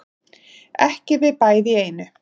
Ekki við bæði í einu